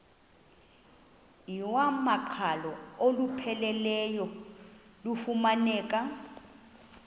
iwamaqhalo olupheleleyo lufumaneka